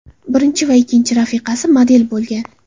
Birinchi va ikkinchi rafiqasi model bo‘lgan.